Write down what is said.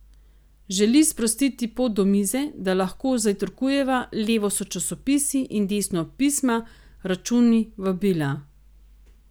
Želi sprostiti pot do mize, da lahko zajtrkujeva, levo so časopisi in desno pisma, računi, vabila.